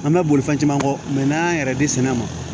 An bɛ boli fɛn caman kɔ n'an y'an yɛrɛ di sɛnɛ ma